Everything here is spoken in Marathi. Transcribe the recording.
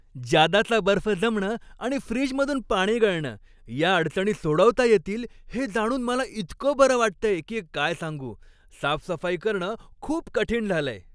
जादाचा बर्फ जमणं आणि फ्रीजमधून पाणी गळणं या अडचणी सोडवता येतील हे जाणून मला इतकं बरं वाटतंय की काय सांगू! साफसफाई करणं खूप कठीण झालंय.